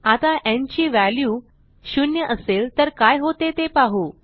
आता न् ची व्हॅल्यू 0 असेल तर काय होते ते पाहू